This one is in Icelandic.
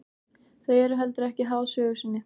Þau eru heldur ekki háð sögu sinni.